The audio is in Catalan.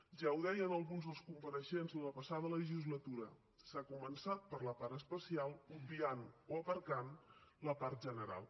ja ho deien alguns dels compareixents la passada legislatura s’ha començat per la part especial i s’ha obviat o aparcat la part general